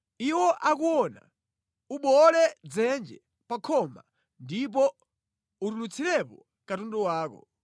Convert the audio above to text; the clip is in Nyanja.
Iwo akuona, ubowole pa khoma ndipo utulutsirepo katundu wako.